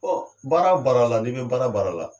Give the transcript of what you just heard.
Ɔ baara o baara la, n'i bɛ baara o baara la.